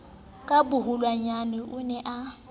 ka boholonyana o ne a